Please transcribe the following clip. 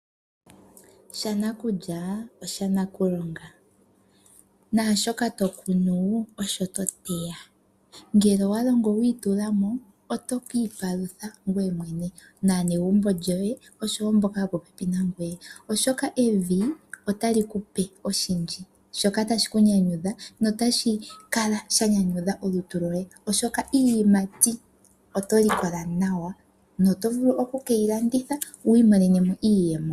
Shana kulya osha nakulonga, nashoka to kunu osho to teya ngele owa longo wu itulamo oto ki ipalutha ngoye mwene nanegumbo lyoye oshowo mboka yo popepi nangoye, oshoka evi otali kupe oshindji shoka tashi ku nyanyudha notashi kala shanyanyudha olutu loye oshoka iiyimati oto likola nawa noto vulu okukeyi landitha wu imo enemo iiyemo.